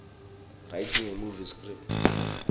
writing a movie script